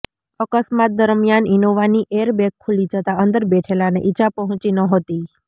અકસ્માત દરમિયાન ઇનોવાની એરબેગ ખુલી જતાં અંદર બેઠેલાને ઇજાઓ પહોંચી નહોતી